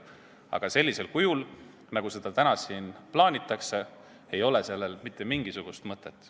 Aga sellisel kujul, nagu seda siin täna plaanitakse, ei ole sellel mitte mingisugust mõtet.